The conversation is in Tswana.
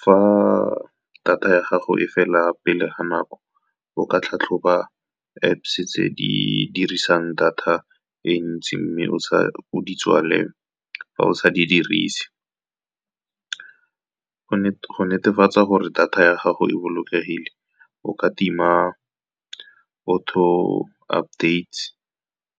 Fa data ya gago e fela pele ga nako, o ka tlhatlhoba Apps tse di dirisang data e ntsi, mme o di tswale fa o sa di dirise. Go netefatsa gore data ya gago e bolokegile, o ka tima auto updates,